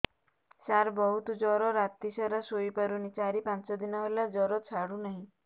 ସାର ବହୁତ ଜର ରାତି ସାରା ଶୋଇପାରୁନି ଚାରି ପାଞ୍ଚ ଦିନ ହେଲା ଜର ଛାଡ଼ୁ ନାହିଁ